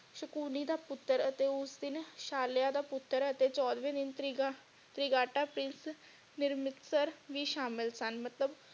ਸ਼ਕੁਨੀ ਦਾ ਪੁੱਤਰ ਅਤੇ ਉਸ ਦਿਨ ਛਾਲਿਆ ਦਾ ਪੁੱਤਰ ਅਤੇ ਚੌਦਵੇਂ ਦਿਨ ਤ੍ਰਿਗ ਤ੍ਰਿਗਤਾ ਨਿਰਮਿਤਸਰ ਵੀ ਸ਼ਾਮਲ ਸਨ ਮਤਲਬ।